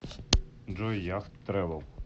джой яхт трэвел